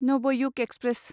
Navyug express